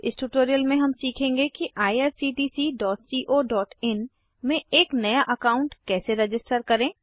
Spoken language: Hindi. इस ट्यूटोरियल में हम सीखेंगे कि irctccoइन में एक नया अकाउन्ट कैसे रजिस्टर करें